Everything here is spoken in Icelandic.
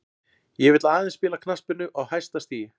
Ég vill aðeins spila knattspyrnu á hæsta stigi.